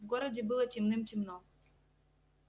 в городе было темным-темно